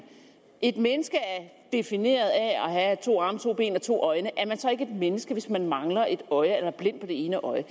et menneske er defineret af at have to arme to ben og to øjne er man så ikke et menneske hvis man mangler et øje eller er blind på det ene øje